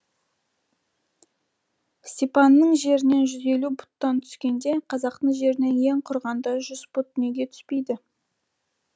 степанның жерінен жүз елу пұттан түскенде қазақтың жерінен ең құрығанда жүз пұт неге түспейді